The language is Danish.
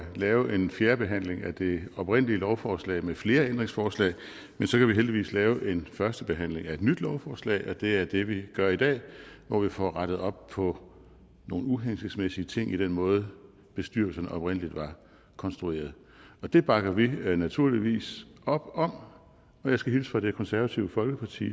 at lave en fjerde behandling af det oprindelige lovforslag med flere ændringsforslag men så kan vi heldigvis lave en første behandling af et nyt lovforslag og det er det vi gør i dag hvor vi får rettet op på nogle uhensigtsmæssige ting i den måde bestyrelsen oprindelig var konstrueret på det bakker vi naturligvis op om jeg skal hilse fra det konservative folkeparti